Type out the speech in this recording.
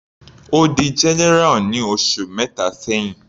Ó di general ní oṣù mẹta sẹ́hìn.